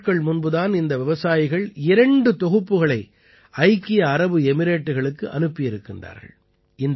சில நாட்கள் முன்பு தான் இந்த விவசாயிகள் இரண்டு தொகுதிப்புகளை ஐக்கிய அரபு எமிரேட்டுகளுக்கு அனுப்பியிருக்கிறார்கள்